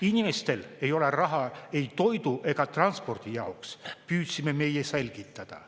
Inimestel ei ole raha ei toidu ega transpordi jaoks, püüdsime meie selgitada.